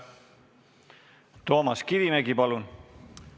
Toomas Kivimägi, palun!